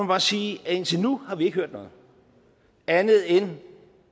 bare sige at indtil nu har vi ikke hørt noget andet end